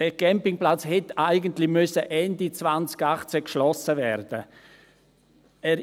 Dieser Campingplatz hätte eigentlich Ende 2018 geschlossen werden müssen.